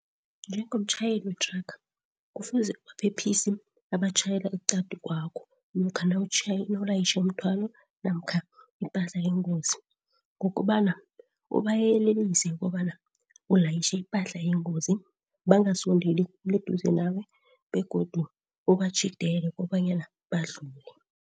Njengomtjhayeli wethraga kufuze ubaphephisi abatjhayela eqadi kwakho namkha nawulayitjhe umthwalo namkha ipahla eyingozi ngokobona ubayelelise kobana ulayitjhe ipahla eyingozi bangasondeli khulu eduze nawe begodu ubatjhidele kobanyana badlule.